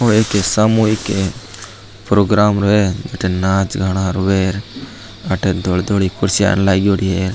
यो एक सामूहिक प्रोग्राम है भटे नाच गाना होये अथीन धोली धोली कुर्सियां लाग्योड़ी है।